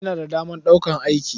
Ina da damar ɗaukar aiki.